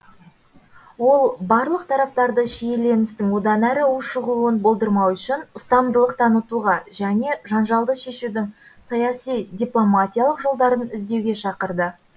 ол барлық тараптарды шиеленістің одан әрі ушығуын болдырмау үшін ұстамдылық танытуға және жанжалды шешудің саяси дипломатиялық жолдарын іздеуге шақырды